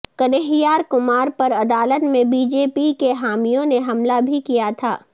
کنہیار کمار پر عدالت میں بی جے پی کے حامیوں نے حملہ بھی کیا تھا